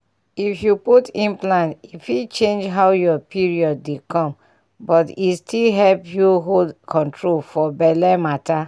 if you put implant e fit change how your period dey come but e still help you hold control for belle matter.